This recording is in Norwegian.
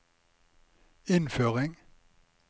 innføring